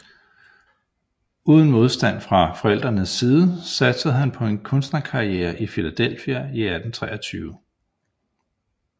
Uden modstand fra forældrenes side satsede han på en kunstnerkarriere i Philadelphia i 1823